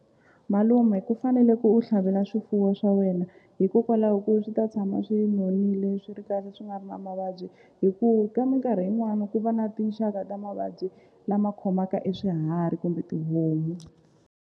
Malume ku fanele ku u tlhavelela swifuwo swa wena hikokwalaho ku swi ta tshama swi nonile swi ri kahle swi nga ri na mavabyi hi ku ka minkarhi yin'wana ku va na tinxaka ta mavabyi lama khomaka e swiharhi kumbe tihomu.